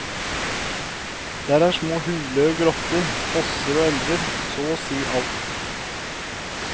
Der er små huler og grotter, fosser og elver, så og si alt.